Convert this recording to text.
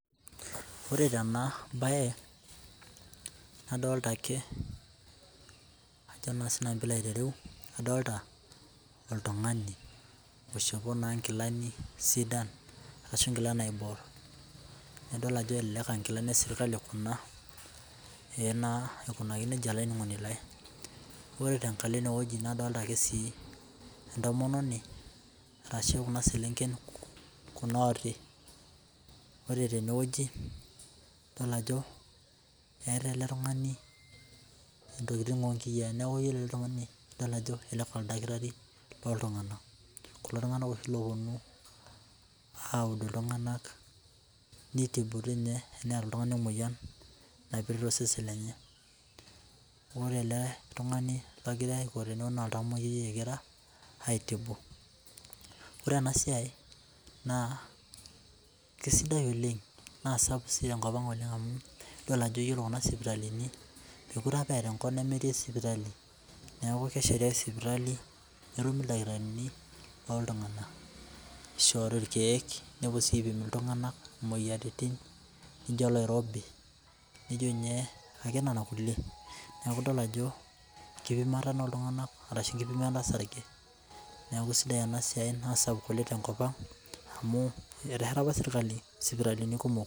Ore tenabae nadolta ake sinanu pilo ayilou adolta oltungani oishopo nkilani sidan ashi nkilani naibor naidol ajo elelek aa nkilani eserkali kuna aikunaki nejia olaininingoni lai ore si aikunaki nejia nadolta si entomononi ashu kuna selenken kunaoti ore tenewueji idolta ajo eeta eletungani ntokitin onkiyaa neaku idolta ajo elelek aa oldakitari loltunganak kulo tunganak oshi oponu aud ltunganak nitini teneeta oltungani emoyian naipirta osesen lenye ore ele tungani ma oltamoyiai egira aitini ore enasiai nakesidai oleng na sapuk tenkop aang amu idol ajo ore kuna sipitalini mekute apa eeta enkop nemetii sipitali neaku kesheti sipitali netumi ildakitarini oltunganak ishori irkiek nepuo si aipim ltunganak imoyiaritin nijo oloirobi nijo ny nona kulie neaku idol ajo enkipimata oltunganak ashu enkipimata osarge neaku sidai enasia na sapuk oleng tenkop aang amu etesheta apa serkali sipitalini kumok